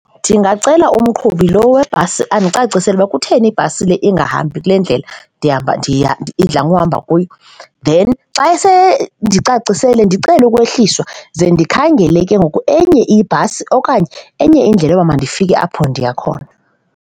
Ndingacela umqhubi lo webhasi andicacisele ukuba kutheni ibhasi le ingahambi kule ndlela ndihamba, ndiya idla ngokuhamba kuyo. Then xa seyendicacisele ndicele ukwehliswa, ze ndikhangele ke ngoku enye ibhasi okanye enye indlela yoba mandifike apho ndiya khona.